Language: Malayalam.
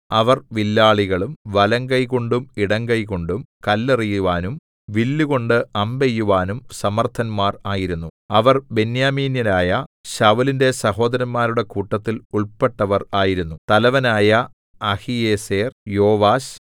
അവർ വില്ലാളികളും വലങ്കൈകൊണ്ടും ഇടങ്കൈകൊണ്ടും കല്ലെറിയുവാനും വില്ലുകൊണ്ടു അമ്പെയ്യുവാനും സമർത്ഥന്മാർ ആയിരുന്നു അവർ ബെന്യാമീന്യരായ ശൌലിന്റെ സഹോദരന്മാരുടെ കൂട്ടത്തിൽ ഉൾപ്പെട്ടവർ ആയിരുന്നു തലവനായ അഹീയേസെർ യോവാശ്